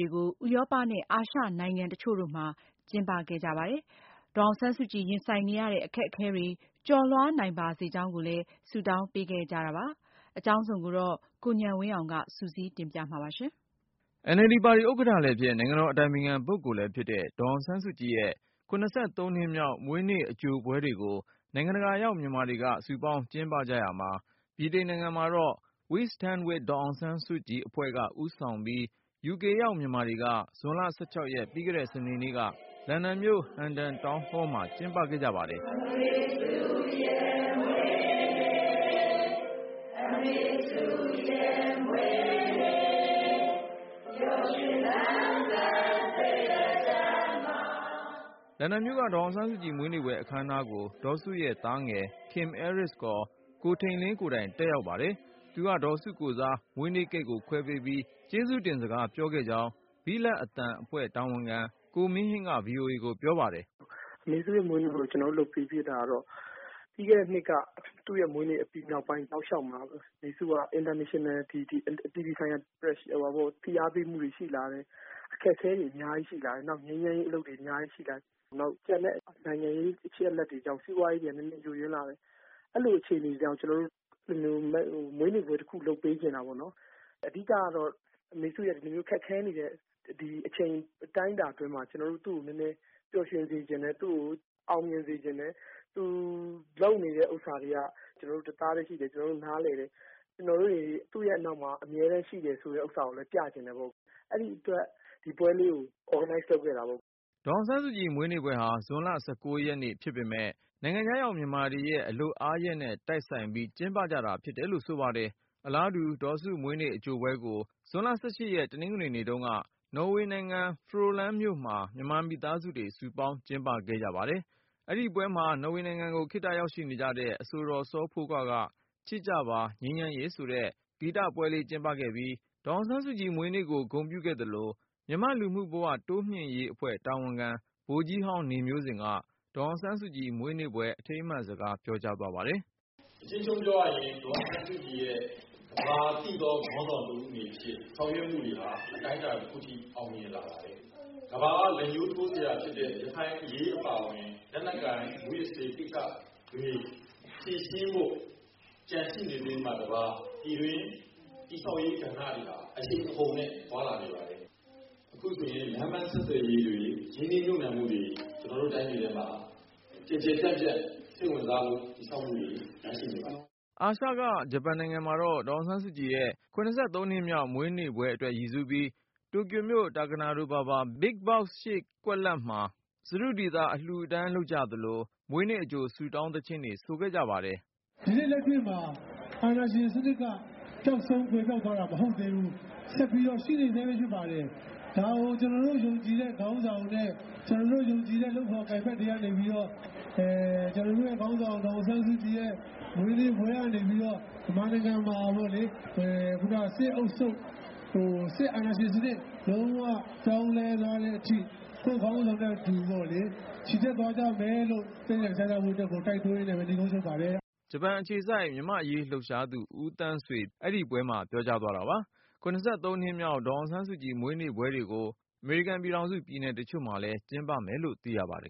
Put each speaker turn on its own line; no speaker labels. တွေကို ဥရောပနဲ့ အာရှနိုင်ငံ တချို့တို့မှာ ကျင်းပခဲ့ကြပါတယ်။ ဒေါ်အောင်ဆန်းစုကြည် ရင်ဆိုင်နေရတဲ့ အခက်အခဲတွေ ကျော်လွှားနိုင်ပါစေကြောင်းကိုလည်း ဆုတောင်းပေးကြတာ တွေ့ရပါတယ်။ အကြောင်းစုံကိုတော့ ကိုဉာဏ်ဝင်းအောင်က စုစည်းတင်ပြထားပါတယ်။
NLD ပါတီဥက္ကဌလည်းဖြစ် နိုင်ငံတော်အတိုင်ပင်ခံပုဂ္ဂိုလ်လည်းဖြစ်တဲ့ ဒေါ်အောင်ဆန်းစုကြည်ရဲ့ နှစ်မြောက်မွေးနေ့ အကြိုပွဲတွေကို နိုင်ငံတကာရောက် မြန်မာတွေက စုပေါင်းကျင်းပကြရာမှာ ဗြိတိန်နိုင်ငံမှာတော့ We Stand With Daw Aung San Suu Kyi အဖွဲ့က ဦးဆောင်ပြီး UK ရောက် မြန်မာတွေက ဇွန်လ ရက် ပြီးခဲ့တဲ့ စနေနေ့က လန်ဒန်မြို့ Hendon Town Hall မှာကျင်းပခဲ့ကြပါတယ်။ လန်ဒန်မြို့က ဒေါ်အောင်ဆန်းစုကြည် မွေးနေ့ပွဲအခမ်းအနားကို ဒေါ်စုရဲ့သားငယ် Kim Aris ကိုထိန်လင်းကိုယ်တိုင် တက်ရောက်ပါတယ်။ သူက ဒေါ်စုကိုယ်စား မွေးနေ့ကိတ်ကို ခွဲပေးပြီး ကျေးဇူးတင်စကား ပြောခဲ့ကြောင်း ဘိလပ်အသံ အဖွဲ့ တာဝန်ခံ ကိုမင်းဟိန်းက VOA ကိုပြော ပါတယ်။
"အမေစုမွေးနေ့ကို ကျနော်တို့ လုပ်ဖြစ်တာကတော့ ပြီးခဲ့တဲ့နှစ်က သူ့မွေးနေ့နောက်ပိုင်း တောက်လျောက်မှာ အမေစုက International Pressure အပြည်ပြည်ဆိုင်ရာ ဖိအားပေးမှုတွေရှိလာတယ်။ အခက်အခဲတွေအများကြီးရှိလာတယ် နောက်ပြီးတော့ ငြိမ်းချမ်းရေး အလုပ်တွေအများကြီးရှိလာတယ် နောက်ပြီးတော့ ကျန်တဲ့ နိုင်ငံရေး အချက်အလက်တွေကြောင့် စီးပွားရေး ယို့ယွင်းလာတယ်။ အဲလိုအခြေအနေတွေကြောင့် ကျနော်တို့ မွေးနေ့ပွဲတခု လုပ်ပေးချင်တာပေါ့နော်။ အဓိကတော့ အမေစုရဲ့ ဒီလိုခက်ခဲနေတဲ့ အချိန်အတိုင်းအတာအတွင်းမှာ ကျနော်တို့ သူ့ကိုနည်းနည်းပျော်ရွှင်စေချင်တယ်။ သူ့ကိုအောင်မြင်စေချင်တယ်။ သူလုပ်နေတဲ့ဟာတွေမှာ ကျနော်တို့ တသားထဲရှိတယ်။ နားလည်တယ် ကျနော်တို့တွေ သူ့နောက်မှာ အမြဲတမ်းရှိတယ်ဆိုတာကိုလည်း ပြချင်တတ်ပေါ့ အဲဒီအတွက် ဒီပွဲကို Organize လုပ်ခဲ့တာပေါ့။
" ဒေါ်အောင်ဆန်းစုကြည် မွေးနေ့ပွဲဟာ ဇွန်လ ရက်ဖြစ်ပေမယ့် နိုင်ငံခြားရောက်မြန်မာတွေရဲ့ အလုပ်နားရက်နဲ့ တိုက်ဆိုင်ပြီး ကျင်းပကြတာ ဖြစ်တယ်လို့ ဆိုပါတယ်။ အလားတူ ဒေါ်စုမွေးနေ့အကြိုပွဲကို ဇွန်လ ရက် တနင်္ဂနွေနေ့တုန်းက နော်ဝေနိုင်ငံ ဖရိုလန်းမြို့မှာ မြန်မာမိသားစုတွေ စုပေါင်းကျင်းပခဲ့ကြ ပါတယ်။ အဲဒီပွဲမှာ နော်ဝေနိုင်ငံကို ခေတ္တရောက်ရှိနေကြတဲ့ အဆိုတော် စောဖိုးခွားက “ချစ်ကြပါ ငြိမ်းချမ်းရေး”ဆိုတဲ့ ဂီတပွဲလေး ကျင်းပခဲ့ပြီး၊ ဒေါ်အောင်ဆန်းစုကြည် မွေးနေ့ကို ဂုဏ်ပြုခဲ့သလို၊ မြန်မာ့လူမှုဘဝ တိုးမြှင့်ရေးအဖွဲ့တာဝန်ခံ ဗိုလ်ကြီးဟောင်း နေမျိုးဇင်က ဒေါ်အောင်ဆန်းစုကြည် မွေးနေ့ပွဲ အထိမ်းအမှတ်စကား ပြောကြားသွားပါတယ်။
"အကျဉ်းချုပ်ပြောရရင် ဒေါ်အောင်ဆန်းစုကြည်ရဲ့ ကမ္ဘာသိတော့ခေါင်းဆောင်တဦးအနေဖြင့်ဆောင်ရွက်မူတွေဟာ အတိုင်းအတာတခုအထိ အောင်မြင်ပါတယ်။ ကမ္ဘာက လက်ညှိးထိုးစရ
ာဖြစ်တဲ့ ရခိုင်အရေးအပါအဝင် လက်နက်ကိုင် မူးယစ်ဆေးကိစ္စတွေ ဖြေရှင်းဖို့ ကျန်ရှိနေသေးတာမှ တပါး ပြည်တွင်းတည်ဆောက်ရေးကဏ္ဍတွေက အရှိန်အဟုန်နဲ့ သွားလာနေပါတယ်။ အခုဆိုရင် လမ်းပန်းဆက်သွယ်ရေးတွေ ရင်းနှီးမြုပ်နှံမှုတွေ ကျနော်တို့ တိုင်းပြည်အတွင်းမှာ ကျယ်ကျယ်ပြန့်ပြန့် စိတ်ဝင်စားမှုတွေ တည်ဆောက်မှုတ
ွေ ရှိနေပါတယ်။
" အာရှက ဂျပန်နိုင်ငံမှာတော့ ဒေါ်အောင်ဆန်းစုကြည်ရဲ့ နှစ်မြောက်မွေးနေ့ပွဲအတွက် ရည်စူးပြီး၊ တိုကျိုမြို့ Takanadobaba BigBox ရှေ့ကွက်လပ်မှာ စတုဒီသာ အလှူအတန်းလုပ်ကြသလို၊ မွေးနေ့အကြို ဆုတောင်သီချင်းတွေ သီဆိုခဲ့ကြပါတယ်။
"ဒီနေ့လက်ရှိမှာ အာဏာရှင်စနစ်က ပျောက်ဆုံး ကွယ်ပျောက်သွားတာ မဟုတ်သေးဘူး။ ဆက်ပြီးတော့ ရှိနေဆဲပဲ ဖြစ်ပါတယ်။ ဒါကို ကျနော်တို့ ယုံကြည်တဲ့ ခေါင်းဆောင်နဲ့ ကျနော်တို့ ယုံကြည်တဲ့ လုပ်ဖော်ကိုင်ဖက်တွေကနေပြီးတော့ ကျနော်တို့ခေါင်းဆောင် ဒေါ်အောင်ဆန်းစုကြည်ရဲ့မွေးနေ့ပွဲ ကနေ မြန်မာနိုင်ငံမှာပေါ့လေ စစ်အုပ်ချုပ်ရေး ၊ စစ်အာဏာရှင်စနစ် လုံးဝ ပြောင်းလဲသွားတဲ့အထိ ချီတက်သွားကြမယ်လို့ သန္နိဋ္ဌာန် ချထားရင်းနဲ့ နိဂုံးချုပ် လိုက်ပါတယ်။
" ဂျပန်အခြေစိုက် မြန်မာအရေးလှုပ်ရှားသူ ဦးသန်းဆွေ အဲဒီပွဲမှာ ပြောသွားတာပါ။ နှစ်မြောက် ဒေါ်အောင်ဆန်းစုကြည် မွေးနေ့ပွဲတွေကို အမေရိကန်ပြည်ထောင်စု ပြည်နယ်တချို့မှာလည်း ကျင်းပမယ်လို့သိရပါတယ်